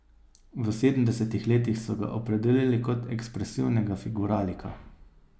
V sedemdesetih letih so ga opredelili kot ekspresivnega figuralika.